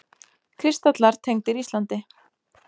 Kristallar tengdir Íslandi